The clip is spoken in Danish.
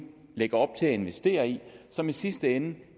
lægger op til at investere i og som i sidste ende